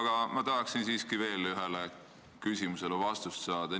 Aga ma tahaksin siiski veel ühele küsimusele vastust saada.